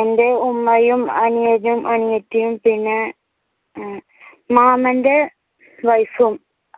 എന്റെ ഉമ്മയും അനിയനും അനിയത്തിയും പിന്നെ ഏർ മാമന്റെ wife ഉം